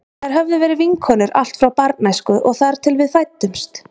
Þær höfðu verið vinkonur allt frá barnæsku og þar til við fæddumst.